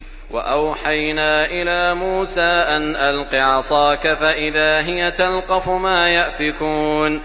۞ وَأَوْحَيْنَا إِلَىٰ مُوسَىٰ أَنْ أَلْقِ عَصَاكَ ۖ فَإِذَا هِيَ تَلْقَفُ مَا يَأْفِكُونَ